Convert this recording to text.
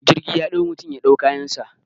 Jirgi ya dau mutum ya dau kayansa